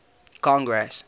congress